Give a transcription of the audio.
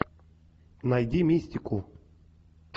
найди мистику